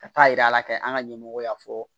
Ka taa yira ala fɛ an ka ɲɛmɔgɔ y'a fɔ